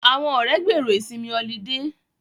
Àwọn ọ̀rẹ́ gbèrò ìsinmi ọlidé